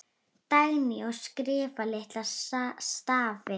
Dagný: Og skrifa litla stafi.